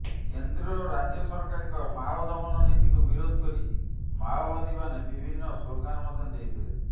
କେନ୍ଦ୍ର ଓ ରାଜ୍ୟ ସରକାରଙ୍କ ମାଓ ଦମନ ନୀତିକୁ ବିରୋଧ କରି ମାଓବାଦୀମାନେ ବିଭିନ୍ନ ସ୍ଲୋଗାନ ମଧ୍ୟ ଦେଇଥିଲେ